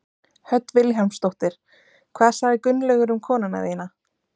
Hödd Vilhjálmsdóttir: Hvað sagði Gunnlaugur um konuna þína?